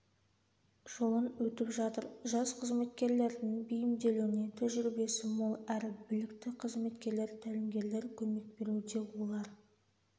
жолын өтіп жатыр жас қызметкерлердің бейімделуіне тәжірибесі мол әрі білікті қызметкерлер тәлімгерлер көмек беруде олар